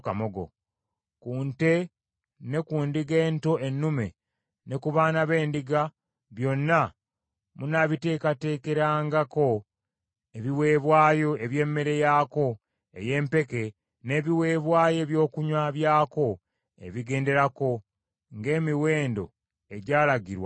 Ku nte ne ku ndiga ento ennume, ne ku baana b’endiga, byonna munaabiteekerateekerangako ebiweebwayo eby’emmere yaako ey’empeke n’ebiweebwayo ebyokunywa byako ebigenderako, ng’emiwendo egyalagirwa bwe giri.